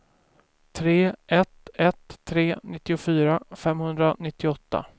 tre ett ett tre nittiofyra femhundranittioåtta